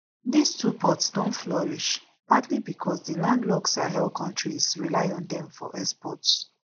dis two ports don flourish partly becos di landlocked sahel kontries rely on dem for exports